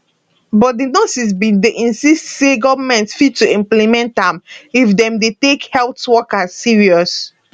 but di nurses bin dey insist say goment fit to implement am if dem dey take health workers serious